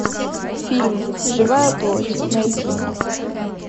фильм живая плоть найти